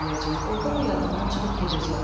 ordan da yadından çıxıb gedəcək.